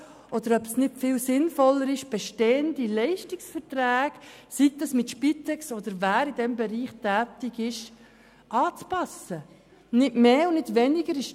Vielleicht wird sich zeigen, dass es sinnvoller ist, bestehende Leistungsverträge anzupassen, sei es mit der Spitex oder mit wem auch immer, der in diesem Bereich tätig ist.